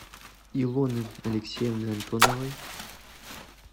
илоны алексеевны антоновой